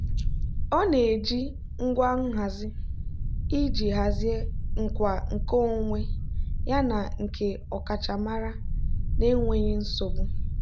ọ na-eji ngwa nhazi iji hazie nkwa nkeonwe yana nke ọkachamara n'enweghị nsogbu.